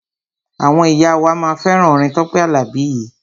Àwọn ìyá wa máa fẹ́ràn orin Tọ́pẹ́ Àlàbí yìí.